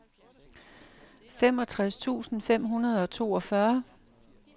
femogtres tusind fem hundrede og toogfyrre